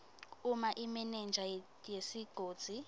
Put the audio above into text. uma imenenja yesigodzi